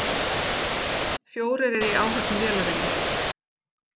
Fjórir eru í áhöfn vélarinnar